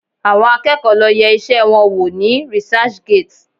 Àwọn akẹ́kọ̀ọ́ lo yẹ iṣẹ́ wọn wò ní researchgate